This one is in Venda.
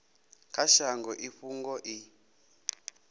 kha shango i fhungo i